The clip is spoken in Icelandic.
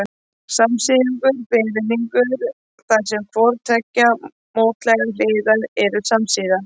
Samsíðungur er ferhyrningur þar sem hvorar tveggja mótlægra hliða eru samsíða.